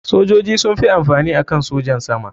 Sojoji sun fi amfani akan sojan sama.